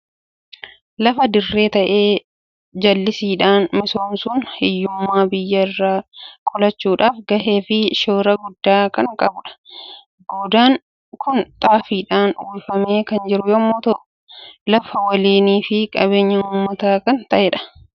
Lafa dirree ta'e jallisiidhaan misoomsuun hiyyummaa biyya irraa qolachuudhaaf gahee fi shoora guddaa kan qabudha. Goodaan kun xaafiidhaan uwwifamee kan jiru yommuu ta'u, lafa waliinii fi qabeenya uummataa kan ta'edha.